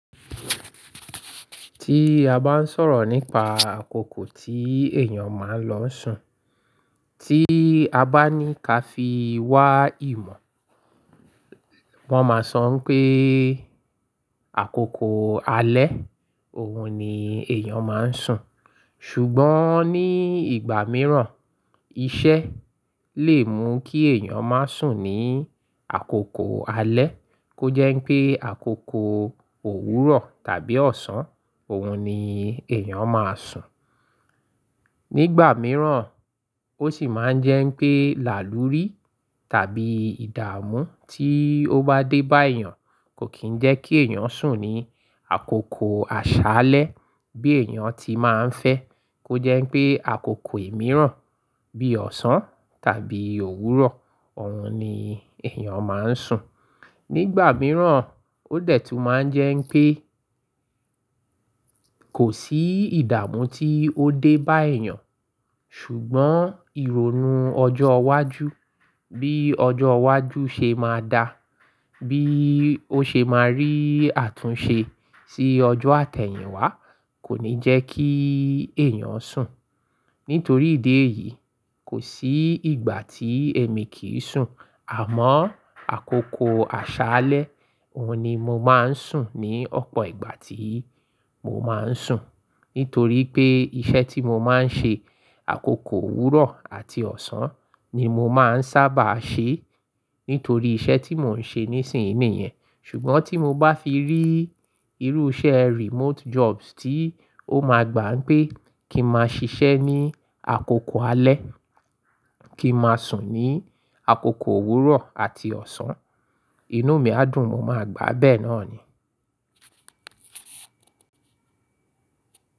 Tí a bá ń sọ̀rọ̀ nípa àkókò tí èyàn máa ń lọ sùn, tí a bá ní ká fi wá ìmọ̀, wọ́n máa sọ pé àkókò alẹ́ òun ni èèyàn máa ń sùn. Ṣùgbọ́n ní ìgbà mìíràn, iṣẹ́ lè mú kí èèyàn má sùn ní àkókò alẹ́, kó jẹ́ pé àkókò òwúrọ̀ tàbí ọ̀sán, òun ni èèyàn máa sùn. Nígbà mìíràn ó sì máa ń jẹ́ n pé làlúrí tàbí ìdààmú tí ó bá dé bá èèyàn, kò kín ń jẹ́ kí èèyàn sùn ní àkókò aṣálẹ́, bí èèyàn ti máa ń fẹ́ kó jẹ́ pé àkókò mìíràn bí ọ̀sán tàbí òwúrọ̀, òun ni èèyàn máa ń sùn. Nígbà mìíràn ó dẹ̀ tu máa ń jẹ́ pé kò sí ìdààmú tí ó dé bá èèyàn, ṣùgbọ́n ìrònú ọjọ́ iwájú, bí ọjọ́ iwájú ṣe máa dà, bí ó ṣe máa rí àtúnṣe sí ọjọ́ àtẹ̀yìnwá kò ní jẹ́ kí èèyàn sùn. Nítorí ìdí èyí, kò sí ìgbà tí èmi kì í sùn, àmọ́ àkókò aṣálẹ́ òun ni mo máa ń sùn ní ọ̀pọ̀ ìgbà tí mo máa ń sùn. Nítorí pé iṣẹ́ tí mo máa ń ṣe àkókò òwúrọ̀ àti ọ̀sán ni mo máa ń sábà ṣe, nítorí iṣẹ́ tí mò ń ṣe nísin yi ni yẹn. Ṣùgbọ́n tí mo bá fi rí irú iṣẹ́ remote jobs tí ó máa gbà pé kí n máa ṣiṣẹ́ ní àkókò alẹ́, kí n máa sùn ní àkókò òwúrọ̀ àti ọ̀sán, inú mi á dùn, mo máa gbá bẹ́ẹ̀ náà ni.